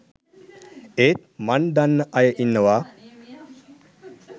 ඒත් මන් දන්න අය ඉන්නවා